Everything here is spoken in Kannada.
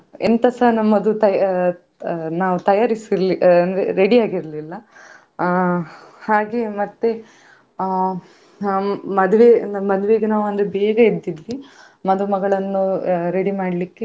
ಬೇರೆ ಬೇರೆ ರೀತಿಯ ಆ ಪ್ರಾಣಿ ಹಾಗೆ ಗುಹೆಗಳ ಒಳಗೆಸ ಎಲ್ಲಾ ಹೋಗ್ಲಿಕ್ಕೆ ಇತ್ತು ಗುಹೆಯ ಒಳಗೆಸ ಆ ಕೆಲವ್ ರೀತಿಯ ಪ್ರಾಣಿಗಳನ್ನು ಒಳಗೆ ಇ~ ಇಟ್ಟಿದ್ರು ಆ ಅಲ್ಲಿಸ ಬೇರೆ ರೀತಿಯ ಪ್ರಾಣಿಗಳು, ಬೇರೆ ಬೇರೆ ದೇಶದ ಪ್ರಾಣಿಗಳೆಲ್ಲ ಇತ್ತು.